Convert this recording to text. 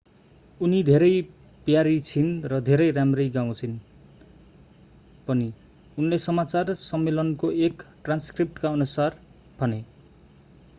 उनी धेरै प्यारी छिन् र धेरै राम्ररी गाउँछिन् पनि उनले समाचार सम्मेलनको एक ट्रान्सक्रिप्टकाअनुसार भने